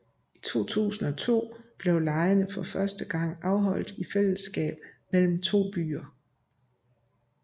I 2002 blev legene for første gang afholdt i fællesskab mellem to byer